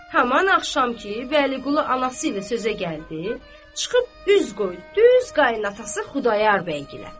Haman axşam ki, Vəliqulu anası ilə sözə gəldi, çıxıb üz qoydu düz qayınatası Xudayar bəygilə.